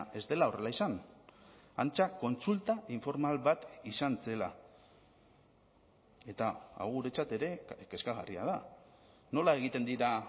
ez dela horrela izan antza kontsulta informal bat izan zela eta hau guretzat ere kezkagarria da nola egiten dira